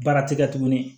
Baara ti kɛ tuguni